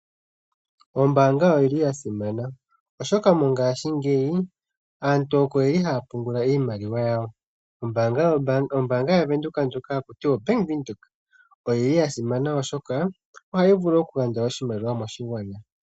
Ombaanga oyili yasimana oshoka mongaashingeyi aantu oko yeli haya pungula iimaliwa yawo. Ombaanga yaVenduka ndjoka hayi ithanwa Bank Windhoek oyili yasimana oshoka ohayi gandja oshimaliwa moshigwana.